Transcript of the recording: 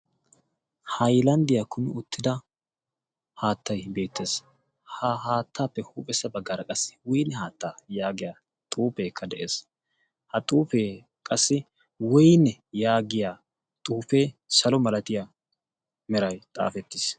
hailanddiyaa kumi ottida haattai beettees. ha haattaappe huuphessa baggaara qassi wine haattaa' yaagiya xuufeekka de7ees. ha xuufee qassi wine yaagiya xuufee salo malatiyaa merai xaafettiis.